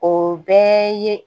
O bɛɛ ye